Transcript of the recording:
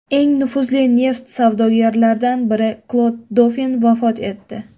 Eng nufuzli neft savdogarlaridan biri Klod Dofin vafot etdi.